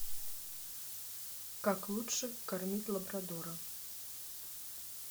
как лучше кормить лабрадора